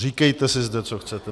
Říkejte si zde, co chcete.